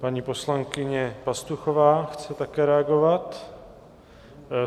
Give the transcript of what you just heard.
Paní poslankyně Pastuchová chce také reagovat.